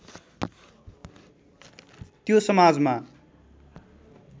त्यो समाजमा